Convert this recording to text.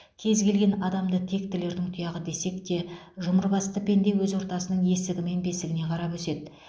кез келген адамды тектілердің тұяғы десек те жұмыр басты пенде өз ортасының есігі мен бесігіне қарап өседі